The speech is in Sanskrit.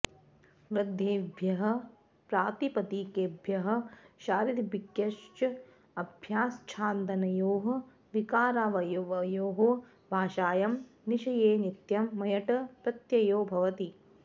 वृद्धेभ्यः प्रातिपदिकेभ्यः शरादिभ्यश्च अभक्ष्याच्छादनयोः विकारावयवयोः भाषायां विषये नित्यं मयट् प्रत्ययो भवति